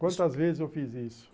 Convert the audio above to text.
Quantas vezes eu fiz isso.